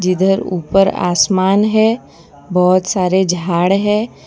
इधर ऊपर आसमान है बहुत सारे झाड़ है।